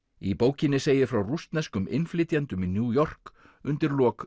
í bókinni segir frá rússneskum innflytjendum í New York undir lok